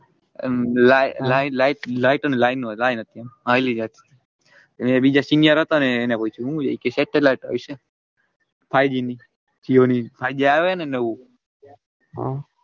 એમ લાઇ લાઇ light અન line line હતી આમ અન એ બીજા senior હતા ને એને પૂછ્યું satellite હશે five g ની five g આયો હે ને નવું.